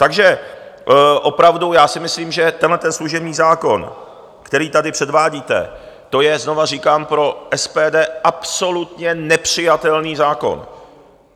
Takže opravdu já si myslím, že tenhleten služební zákon, který tady předvádíte, to je, znovu říkám, pro SPD absolutně nepřijatelný zákon.